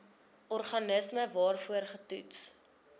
organisme waarvoor getoets